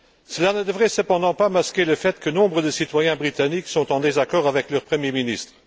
Cela ne devrait cependant pas masquer le fait que nombre de citoyens britanniques sont en désaccord avec leur premier ministre.